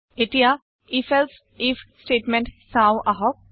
এতিয়া if এলছে if statement চাওঁ আহক